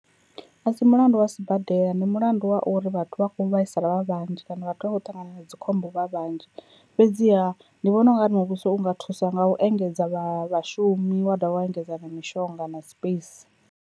A si mulandu wa sibadela ndi mulandu wa uri vhathu vha kho vhaisala vha vhanzhi kana vhathu vha khou ṱangana na dzikhombo vha vhanzhi, fhedziha ndi vhona u nga ri muvhuso unga thusa nga u engedza vha vhashumi wa dovha wa engedza na mishonga na space.